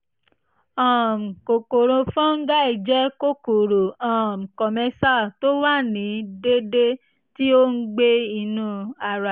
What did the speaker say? um kòkòrò fọ́nńgáì jẹ́ kòkòrò um commensal tó wà ní deede (ti o ngbe ninu ara)